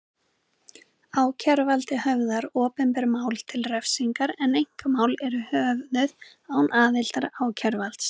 Ákæruvaldið höfðar opinber mál til refsingar en einkamál eru höfðuð án aðildar ákæruvalds.